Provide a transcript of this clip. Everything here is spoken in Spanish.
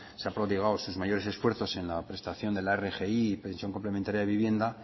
se ha prodigado sus mayoresesfuerzos en la prestación de la rgi y pensión complementaria de vivienda